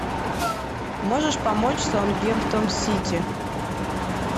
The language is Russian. можешь помочь саутгемптон сити